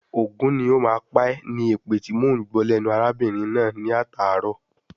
"Ògún ní o má pá ẹ̀" ni èpè tíì mọ ń gbọ́ lẹ́nu arábìnrin náà ní atàárọ̀.